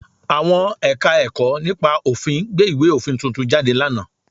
Àwọn Ẹ̀ka-ẹ̀kọ́ nípa òfin gbé ìwé òfin tuntun jáde lánàá